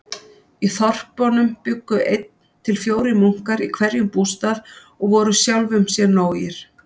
Í þorpunum bjuggu einn til fjórir munkar í hverjum bústað og voru sjálfum sér nógir.